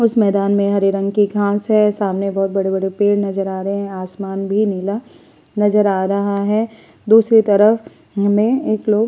उस मैदान में हरे रंग की घास है। सामने बोहत बड़े-बड़े पेड़ नजर आ रहे हैं। आसमान भी नीला नजर आ रहा है। दूसरी तरफ हमें एक लोग --